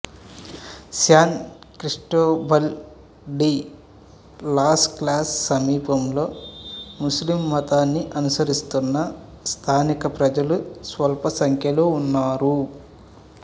San Cristobal de las క్లాస్ సమీపంలో ముస్లిం మతాన్ని అనుసరిస్తున్న స్థానిక ప్రజలు స్వల్పసంఖ్యలో ఉన్నారు